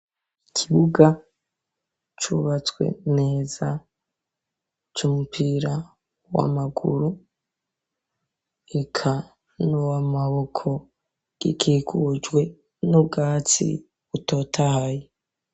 Ikibuga cubatswe neza c'umupira w'amaguru eka no wamaboko gikigujwe n'ubwatsi butotahayi.